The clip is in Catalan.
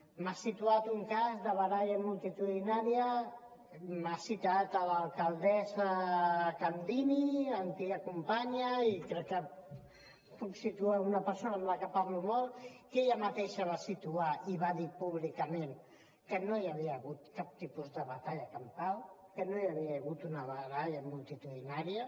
m’ha situat un cas de baralla multitudinària m’ha citat l’alcaldessa candini antiga companya i crec que puc situar una persona amb la que parlo molt que ella mateixa va situar i va dir públicament que no hi havia hagut cap tipus de batalla campal que no hi havia hagut una baralla multitudinària